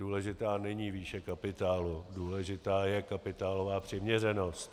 Důležitá není výše kapitálu, důležitá je kapitálová přiměřenost.